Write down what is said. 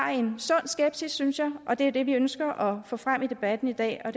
har en sund skepsis synes jeg og det er det vi ønsker at få frem i debatten i dag og